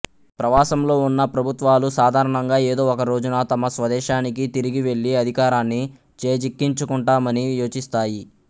ప్రవాసంలో ఉన్న ప్రభుత్వాలు సాధారణంగా ఏదో ఒకరోజున తమ స్వదేశానికి తిరిగి వెళ్ళి అధికారాన్ని చేజిక్కించుకుంటామని యోచిస్తాయి